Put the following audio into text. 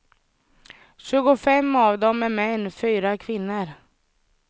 Tjugofem av dem är män, fyra är kvinnor.